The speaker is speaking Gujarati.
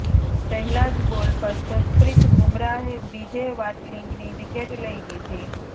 પહેલા જ બોલ પર જસપ્રીત બુમરાહે બીજે વાટલિંગની વિકેટ લઈ લીધી